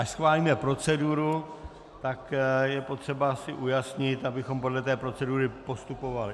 Až schválíme proceduru, tak je potřeba si ujasnit, abychom podle té procedury postupovali.